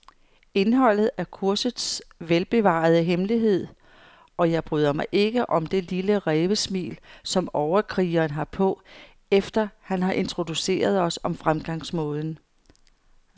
Indholdet er kursets velbevarede hemmelighed, og jeg bryder mig ikke om det lille rævesmil, som overkrigeren har på, efter han har introduceret os om fremgangsmåden.